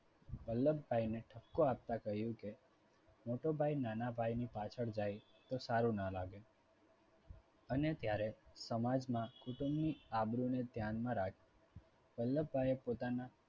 વલ્લભભાઈ ને ઠપકો આપતા કહ્યું કે મોટો ભાઈ નાના ભાઈ ની પાછળ જાય તો સારું ના લાગે. અને ત્યારે સમાજમાં કુટુંબની આબરૂને ધ્યાનમાં રાખી વલ્લભભાઈએ પોતાના